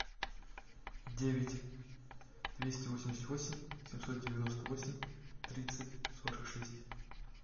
девять двести восемьдесят восемь семьсот девяносто восемь тридцать сорок шесть